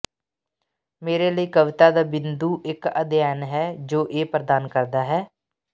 ਮੇਰੇ ਲਈ ਕਵਿਤਾ ਦਾ ਬਿੰਦੂ ਇੱਕ ਅਧਿਐਨ ਹੈ ਜੋ ਇਹ ਪ੍ਰਦਾਨ ਕਰਦਾ ਹੈ